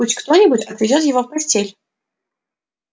пусть кто-нибудь отведёт его в постель